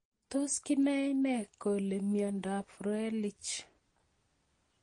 Tos kinae nee kole miondop Froelich